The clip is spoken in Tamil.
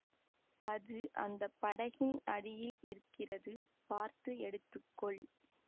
அது அந்த படகின் அடியில் இருக்கிறது பார்த்து எடுத்துக்கொள்